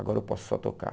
Agora eu posso só tocar.